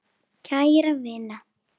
Kæra vina!